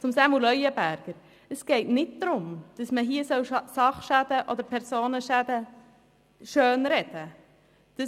Zu Samuel Leuenberger: Es geht nicht darum, dass man Sach- oder Personenschäden schönreden will.